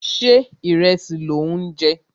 Ṣé ìrẹsì lò ń jẹ?